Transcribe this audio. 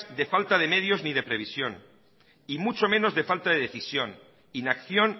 de falta de medios y de previsión y mucho menos de falta de decisión inacción